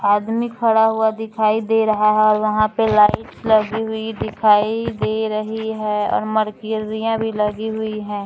आदमी खड़ा हुआ दिखाई दे रहा है वहां पे लाइटस लगी हुई दिखाई दे रही है और मरक्युरिया भी लगी हुई है।